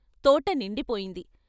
తోట నిండిపోయింది.